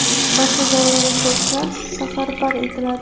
barcha zarur resurslar safarbar etiladi.